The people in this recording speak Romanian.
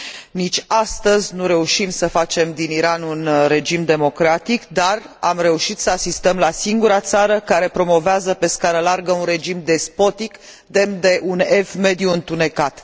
Nici astăzi nu reușim să facem din Iran un regim democratic, dar am reușit să asistăm la singura țară care promovează pe scară largă un regim despotic, demn de un Ev Mediu întunecat.